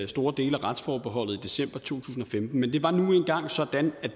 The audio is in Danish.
store dele af retsforbeholdet i december to tusind og femten men det var nu engang sådan